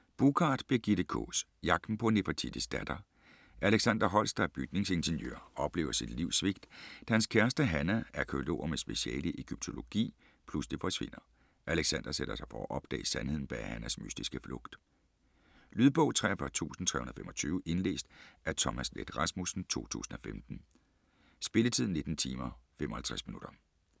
Buschard, Birgitte Kaas: Jagten på Nefertitis datter Alexander Holst, der er bygningsingeniør, oplever sit livs svigt, da hans kæreste Hannah, arkæolog med speciale i egyptologi, pludselig forsvinder. Alexander sætter sig for at opdage sandheden bag Hannahs mystiske flugt. Lydbog 43325 Indlæst af Thomas Leth Rasmussen, 2015. Spilletid: 19 timer, 55 minutter.